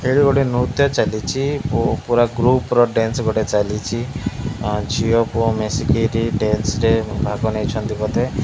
ଏଡି ଗୋଟେ ନୃତ୍ୟ ଚାଲିଛି ପୂରା ଗ୍ରୁପ୍ ର ଡେନ୍ସ ଗୋଟେ ଚାଲିଛି ଉଁ ଝିଅ ପୁଅ ମିଶିକି ଡେନ୍ସ ରେ ଭାଗ ନେଇଛନ୍ତି ବୋଧେ।